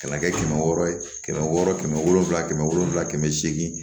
Ka na kɛ kɛmɛ wɔɔrɔ ye kɛmɛ wɔɔrɔ kɛmɛ wolonfila kɛmɛ wolonfila kɛmɛ seegin